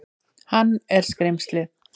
Hann er skrímslið.